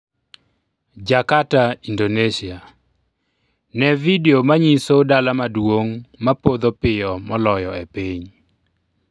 Jakarta, Indonesia: Ne vidio manyiso dala maduong' ma podho piyo moloyo e piny